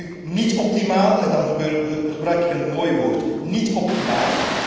Dat gebeurt nu niet optimaal en dan gebruik ik een mooi woord niet optimaal.